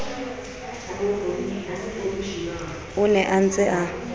o ne a ntse a